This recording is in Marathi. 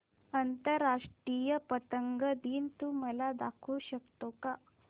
आंतरराष्ट्रीय पतंग दिन तू मला दाखवू शकतो का